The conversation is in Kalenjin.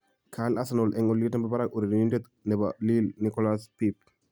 kaal Arsenal eng oliet nebo barak urerenindet nebo Lille ,Nicholas Pepe